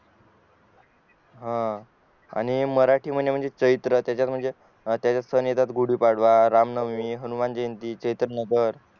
ह आणि मराठी महिने म्हणजे चैत्र तयाचात म्हणजे सण येतात गुडी पाडवा रामनवमी हनुमानजयंती चैतन नगर